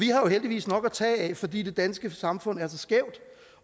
jo heldigvis nok at tage af fordi det danske samfund er så skævt